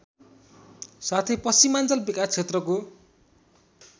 साथै पश्चिमाञ्चल विकासक्षेत्रको